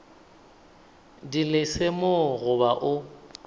di lesa mo goba o